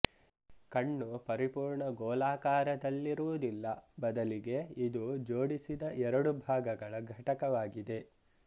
ಕಣ್ಣು ಪರಿಪೂರ್ಣ ಗೋಲಾಕಾರದಲ್ಲಿರುವುದಿಲ್ಲ ಬದಲಿಗೆ ಇದು ಜೋಡಿಸಿದ ಎರಡು ಭಾಗಗಳ ಘಟಕವಾಗಿದೆ